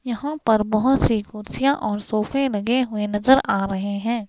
यहां पर बहुत सी कुर्सियां और सोफे लगे हुए नजर आ रहे हैं.